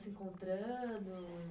Se encontrando?